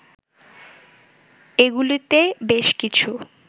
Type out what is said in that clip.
এগুলিতে বেশ কিছু